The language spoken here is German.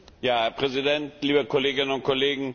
Herr Präsident, liebe Kolleginnen und Kollegen!